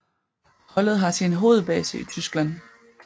Holdet har sin hovedbase i Tyskland